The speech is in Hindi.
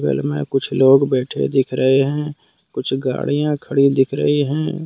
में कुछ लोग बैठे दिख रहे हैं कुछ गाड़ियां खड़ी दिख रहीं है।